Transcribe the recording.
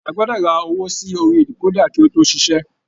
A gbọdọ rà owó sí orí dekoda kí o to ṣiṣẹ.